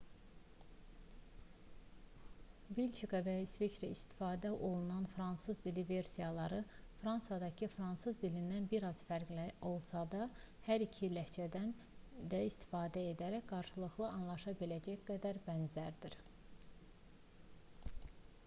belçika və i̇sveçrədə istifadə olunan fransız dili versiyaları fransadakı fransız dilindən bir az fərqli də olsa hər iki ləhcədən də istifadə edərək qarşılıqlı anlaşa biləcək qədər də bənzərdir